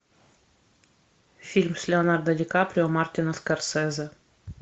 фильм с леонардо ди каприо мартина скорсезе